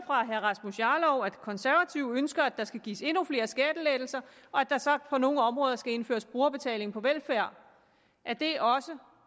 fra herre rasmus jarlov at de konservative ønsker at der skal gives endnu flere skattelettelser og at der så på nogle områder skal indføres brugerbetaling på velfærd er det også